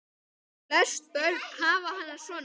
Flest börn hafa hana svona